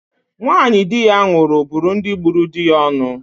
Nwanyị di ya nwụrụ bụrụ ndị gburu di ya onu.